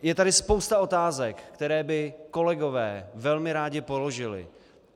Je tady spousta otázek, které by kolegové velmi rádi položili.